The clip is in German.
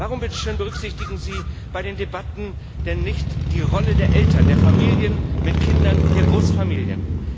Warum berücksichtigen Sie bei den Debatten denn nicht die Rolle der Eltern, der Familien mit Kindern, der Großfamilien?